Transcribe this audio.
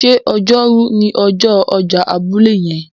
ṣe Ọjọ́ Rú ni ọjọ ọjà abúlé yen?